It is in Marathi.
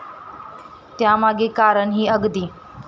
त्यामागे कारणही अगदी.